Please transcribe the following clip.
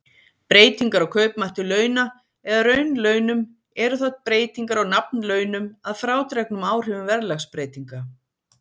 Breytingar á kaupmætti launa eða raunlaunum eru þá breytingar á nafnlaunum að frádregnum áhrifum verðlagsbreytinga.